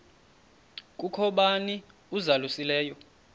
kukho bani uzalusileyo